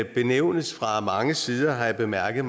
benævnes fra mange sider har jeg bemærket